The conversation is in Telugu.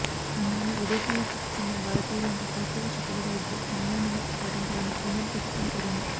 అందువల్ల విదేశాల్లో చిక్కుకున్న భారతీయులంతా పరిస్థితులు చక్కబడే వరకు సంయమనం పాటించాలని కేంద్రం ప్రభుత్వం కోరింది